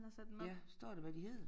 Ja står der hvad de hedder